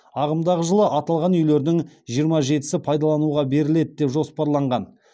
ағымдағы жылы аталған үйлердің жиырма жетісі пайдалануға беріледі деп жоспарланған